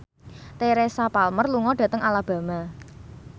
Teresa Palmer lunga dhateng Alabama